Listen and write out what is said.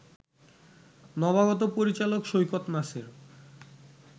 নবাগত পরিচালক সৈকত নাসির